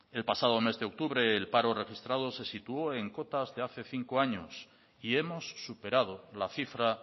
el pasado mes de octubre el paro registrado se situó en cuotas de hace cinco años y hemos superado la cifra